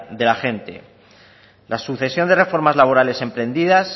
de la gente la sucesión de reformas laborales emprendidas